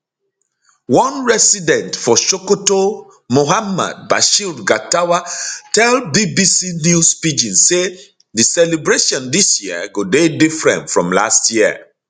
one resident for sokoto muhammad bashir gatawa tell bbc news pidgin say di celebration dis year go dey different from last year